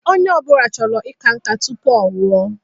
Onye ọbụla chọrọ ika nka tụpụ ọnwụ o